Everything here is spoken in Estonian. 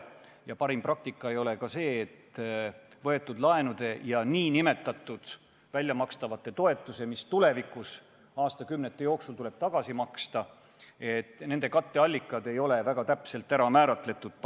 Ja parim praktika ei ole ka see, et võetud laenude ja väljamakstavate nn toetuste, mis tuleb tulevikus aastakümnete jooksul tagasi maksta, katteallikad ei ole paketi puhul piisavalt täpselt ära määratud.